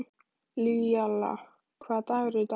Laíla, hvaða dagur er í dag?